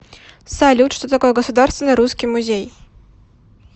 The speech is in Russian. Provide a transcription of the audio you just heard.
салют что такое государственный русский музей